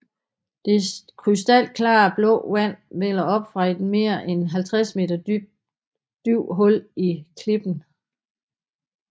Det krystalklare blå vand vælder op fra et mere end 50 meter dybt hul i klippen